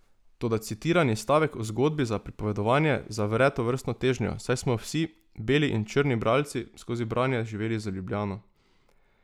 Toda citirani stavek o zgodbi za pripovedovanje zavre tovrstno težnjo, saj smo vsi, beli in črni bralci, skozi branje živeli z Ljubljeno.